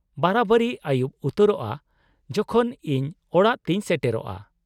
-ᱵᱟᱨᱟᱵᱟᱨᱤ ᱟᱹᱭᱩᱵ ᱩᱛᱟᱹᱨᱚᱜᱼᱟ ᱡᱚᱠᱷᱚᱱ ᱤᱧ ᱚᱲᱟᱜ ᱛᱤᱧ ᱥᱮᱴᱮᱨᱚᱜᱼᱟ ᱾